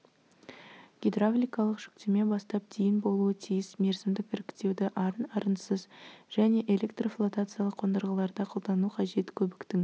гидравликалық жүктеме бастап дейін болуы тиіс мерзімдік іріктеуді арын арынсыз және электрофлотациялық қондырғыларда қолдану қажет көбіктің